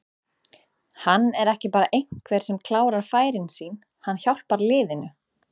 Hann er ekki bara einhver sem klárar færin sín, hann hjálpar liðinu.